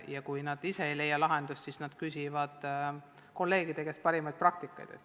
Ja kui nad ise ei leia lahendust, siis nad küsivad kolleegide käest parimaid praktikaid.